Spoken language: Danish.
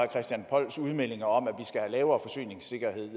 christian polls udmeldinger om at skal have lavere forsyningssikkerhed